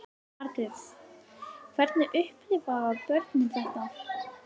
Margrét: Hvernig upplifa börnin þetta?